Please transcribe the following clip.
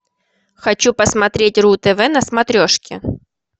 хочу посмотреть ру тв на смотрешке